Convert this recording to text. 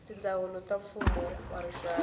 tindzawulo ta mfumo wa rixaka